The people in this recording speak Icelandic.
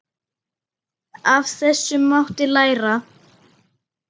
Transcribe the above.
Af þessu mátti læra.